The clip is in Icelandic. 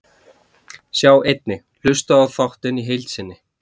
Sjá einnig: Hlustaðu á þáttinn í heild sinni